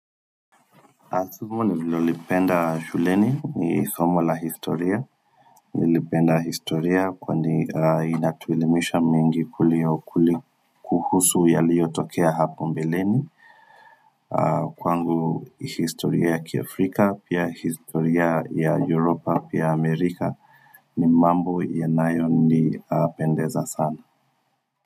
Asumo nivile ulipenda shuleni ni somo la historia, nilipenda historia kweni inatuelemisha mingi kulio kuhusu yalio tokea hapo mbeleni, kwangu historia ya kiafrika, pia historia ya Europa, pia Amerika, ni mambo ya nayo ni pendeza sana.